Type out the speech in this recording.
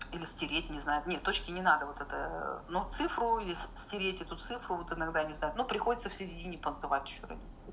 или стереть не знаю нет точки не надо вот это ну цифру и стереть эту цифру вот иногда не знаю но приходится в середине танцевать ещё